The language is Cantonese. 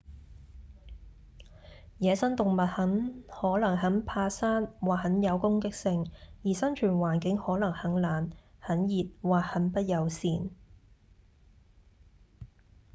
野生動物可能很怕生或很有攻擊性而生存環境可能很冷、很熱或很不友善